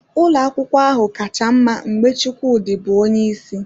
Ụlọ akwụkwọ ahụ kacha mma mgbe Chukwudi bụ onye isi